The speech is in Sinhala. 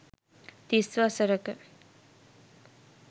තිස් වසරක